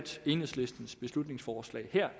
enhedslistens beslutningsforslag